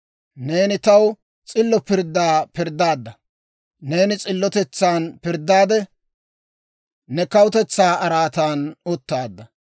Neeni taw s'illo pirddaa pirddaadda; Neeni s'illotetsan pirddaadde, ne kawutetsaa araatan uttaadda.